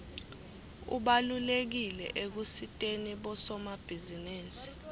ubalulekile ekusiteni bosomabhizinisi